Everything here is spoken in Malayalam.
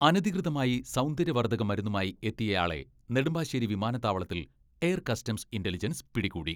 അനധികൃതമായി സൗന്ദര്യവർധക മരുന്നുമായി എത്തിയയാളെ നെടുമ്പാ ശേരി വിമാനത്താവളത്തിൽ എയർ കസ്റ്റംസ് ഇന്റലിജൻസ് പിടികൂടി.